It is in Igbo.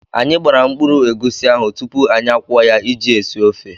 Anyị gbara mkpụrụ egusi ahụ tupu anyị akwọọ ya iji esi ofe.